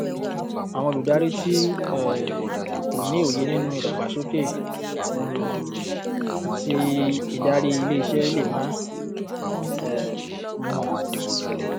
àwọn olùdarí tí um ó ní òye nínú ìdàgbàsókè um àti ìdàrí ilé iṣẹ lè má um mọ